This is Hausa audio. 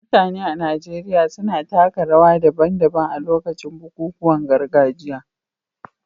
Mutane a Najeriya suna taka rawa daban-daban a lokacin bukukuwan gargajiya.